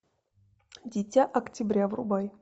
дитя октября врубай